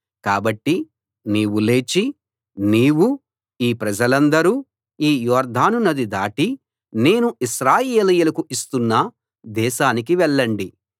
కాబట్టి నీవు లేచి నీవూ ఈ ప్రజలందరూ ఈ యొర్దాను నది దాటి నేను ఇశ్రాయేలీయులకు ఇస్తున్న దేశానికి వెళ్ళండి